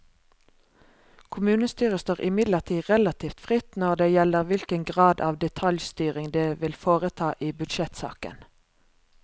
Kommunestyret står imidlertid relativt fritt når det gjelder hvilken grad av detaljstyring det vil foreta i budsjettsaken.